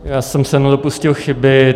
Já jsem se dopustil chyby.